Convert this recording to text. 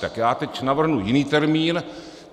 Tak já teď navrhnu jiný termín.